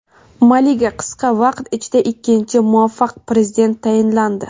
Maliga qisqa vaqt ichida ikkinchi muvaqqat Prezident tayinlandi.